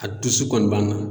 A dusu kɔni b'a na.